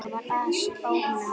Það var asi á honum.